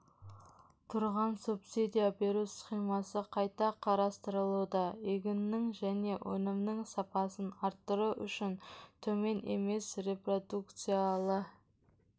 тұрған субсидия беру схемасы қайта қарастырылуда егіннің және өнімнің сапасын арттыру үшін төмен емес репродукциялы